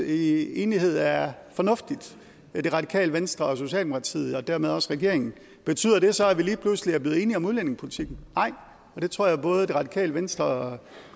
i enighed er fornuftigt i det radikale venstre og socialdemokratiet og dermed også regeringen betyder det så at vi lige pludselig er blevet enige om udlændingepolitikken nej og det tror jeg både det radikale venstre og